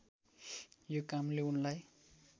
यो कामले उनलाई